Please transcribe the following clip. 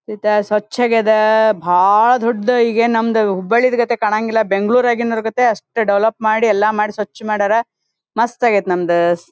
ಈಗ ಸ್ವಚ್ಚಾಗಿದಾ ಬಾಲ ದೊಡ್ಡ ಹೀಗೆ ಏನು ನಮ್ಹುದು ಹುಬ್ಬಳ್ಳಿದು ಕತೆ ಕಾಣಂಗಿಲ್ಲ ಬೆಂಗಳೂರು ಅಗಿನಾರ ಕತೆ ಅಷ್ಟೇ ದೆವೆಲೋಪ್ ಮಾಡಿ ಎಲ್ಲ ಮಾಡಿ ಸ್ವಚ್ಛ ಮಾಡ್ಯಾರ ಮಸ್ತ್ ಅಗೈತು ನಮ್ದು.